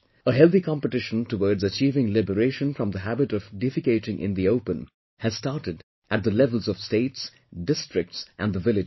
A healthy competition towards achieving liberation from the habit of defecating in open has started at the levels of states, districts and the villages